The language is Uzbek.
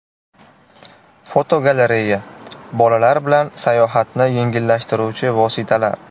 Fotogalereya: Bolalar bilan sayohatni yengillashtiruvchi vositalar.